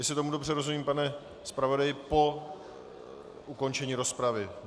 Jestli tomu dobře rozumím, pane zpravodaji, po ukončení rozpravy?